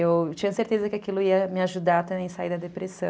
Eu tinha certeza que aquilo ia me ajudar também a sair da depressão.